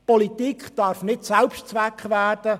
Die Politik darf nicht zum Selbstzweck werden.